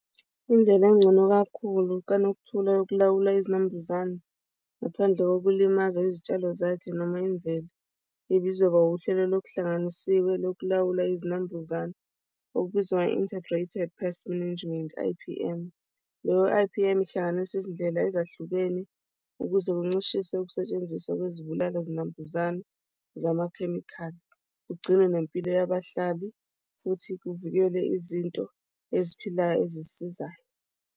Indlela engcono kakhulu kaNokuthula yokulawula izinambuzane ngaphandle kokulimaza izitshalo zakhe noma imvelo ibizoba wuhlelo lokuhlanganisiwe lokulawula izinambuzane okubizwa nge-Integrated Pest Management, I_P_M loyo I_P_M ihlanganisa izindlela ezahlukene ukuze kuncishiswe ukusetshenziswa kwezibulala zinambuzane zamakhemikhali, kugcinwe nempilo yabahlali futhi kuvikelwe izinto eziphilayo ezisizayo.